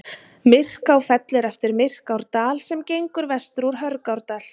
Myrká fellur eftir Myrkárdal sem gengur vestur úr Hörgárdal.